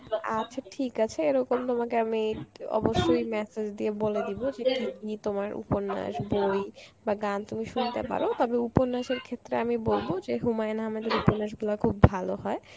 আচ্ছা ঠিক আছে এরকম তোমাকে আমি অবশ্যই message দিয়ে বলে দিব যে কী কী তোমার উপন্যাস বই গান শুনি শুনতে পারো, তবে উপন্যাসের ক্ষেত্রে আমি বলবো যে হুমায়ুন আহাম্মেদের উপন্যাস গুলো খুব ভালো হয়.